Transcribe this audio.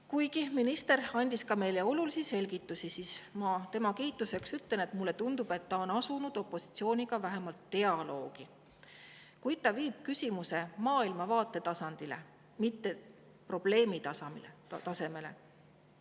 Kuna minister andis meile olulisi selgitusi, siis ma tema kiituseks ütlen, et mulle tundub, et ta on asunud opositsiooniga vähemalt dialoogi, kuid ta viib küsimuse maailmavaate, mitte probleemi tasemele.